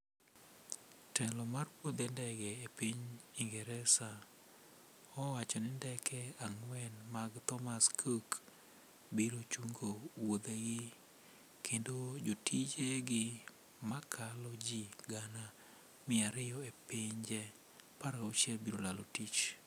Telo mar wuothe ndege e piny ingresa ,owacho ni ndeke ang'wen mag Thomas cook ,biro chungo wuothegi, kendo jotije gi makalo ji gana mia ariyo e pinje 16 biro lalo tich.